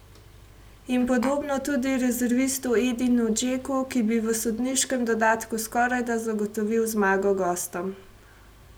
In podobno tudi rezervistu Edinu Džeku, ki bi v sodniškem dodatku skorajda zagotovil zmago gostom.